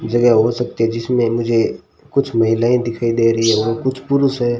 जगह हो सकती है जिसमें मुझे कुछ महिलाएं दिखाई दे रही है और कुछ पुरुष हैं।